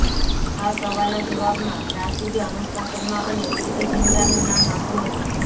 આ સવાલના જવાબમાં રાશિદે અનુષ્કા શર્મા અને પ્રીતિ ઝિંટાનું નામ આપ્યું હતું